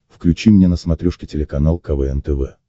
включи мне на смотрешке телеканал квн тв